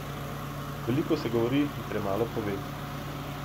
Veliko se govori in premalo pove.